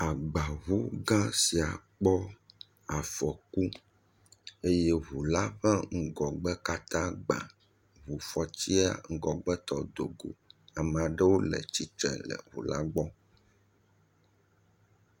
Agbaŋu gã sia kpɔ afɔku eye ŋula ƒe ŋgɔgbe katã gbà, ŋufɔtiɛ ŋgbɔgbetɔ dogo. Amaɖewo le tsitre le ŋula gbɔ